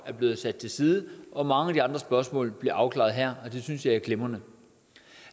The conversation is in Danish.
er blevet sat til side og mange af de andre spørgsmål bliver afklaret her og det synes jeg er glimrende